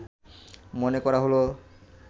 মনে করা হল